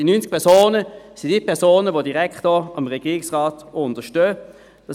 Diese 90 Personen sind die Personen, die dem Regierungsrat auch direkt unterstellt sind.